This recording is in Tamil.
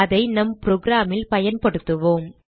அதை நம் program ல் பயன்படுத்துவோம்